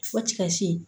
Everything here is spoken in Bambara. Fɔ tikasi